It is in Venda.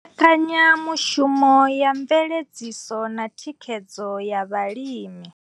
Mbekanyamushumo ya mveledziso na thikhedzo ya vhalimi.